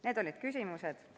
Need olid küsimused.